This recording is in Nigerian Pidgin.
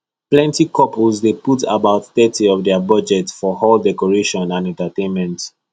plenty couples dey put about thirty of their budget for hall decoration and entertainment